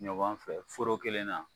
Ɲɔgɔn fɛ foro kelen na